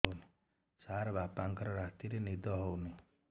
ସାର ବାପାଙ୍କର ରାତିରେ ନିଦ ହଉନି